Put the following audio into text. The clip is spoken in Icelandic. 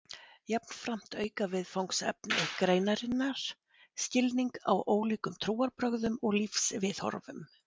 Jafnframt auka viðfangsefni greinarinnar skilning á ólíkum trúarbrögðum og lífsviðhorfum.